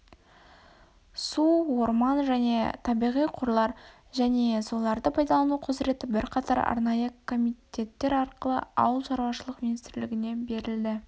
су орман және табиғи қорлар және соларды пайдалану құзыреті бірқатар арнайы комитеәттер арқылы ауыл шаруашылық министрлігіне берілді